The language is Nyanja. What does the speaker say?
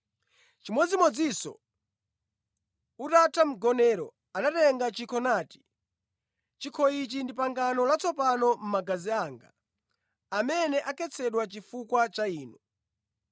Chimodzimodzinso, utatha mgonero, anatenga chikho nati, “Chikho ichi ndi pangano latsopano la magazi anga, amene akhetsedwa chifukwa cha inu.